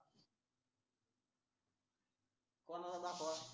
कोणाला दाखवा